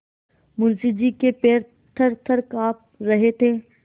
मुंशी जी के पैर थरथर कॉँप रहे थे